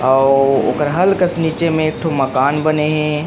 अउ ओकर हल्का से नीचे में एक ठो मकान बने हे।